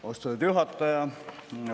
Austatud juhataja!